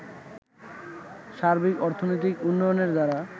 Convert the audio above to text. সার্বিক অর্থনৈতিক উন্নয়নের ধারা